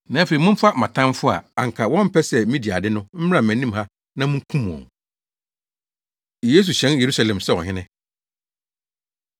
Na afei, momfa mʼatamfo a anka wɔmpɛ sɛ midi ade no mmra mʼanim ha na munkum wɔn!’ ” Yesu Hyɛn Yerusalem Sɛ Ɔhene